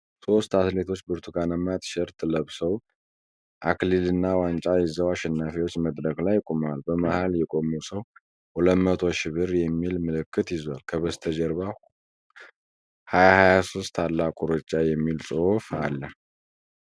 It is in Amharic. ሶስት አትሌቶች ብርቱካናማ ቲሸርት ለብሰው፣ አክሊልና ዋንጫ ይዘው አሸናፊዎች መድረክ ላይ ቆመዋል። በመሃል የቆመው ሰው '200,000 ብር' የሚል ምልክት ይዟል፤ ከበስተጀርባ '2023 ታላቁ ሩጫ' የሚል ጽሁፍ አለ።